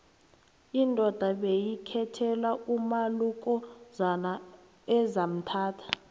indoda beyikhethelwa umalukozana ezamthatha